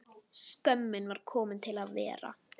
Skömmin var komin til að vera.